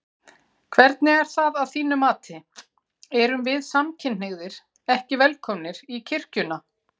Hvernig er það að þínu mati, erum við samkynhneigðir ekki velkomnir í kirkjuna?